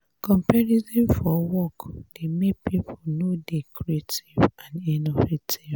comparison for work dey make pipo no dey creative and innovative